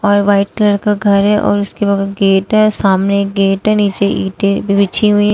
और white colour का घर है और उसके बाद गेट है सामने एक गेट नीचे ईटें बिछी हुई--